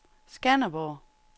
Skanderborg